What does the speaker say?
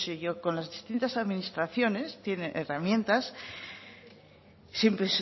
con las distintas administraciones tiene herramientas